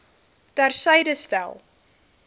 ter syde stel